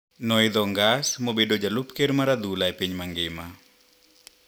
Noidho ngas mobedo jalup ker mar adhula epiny mangima.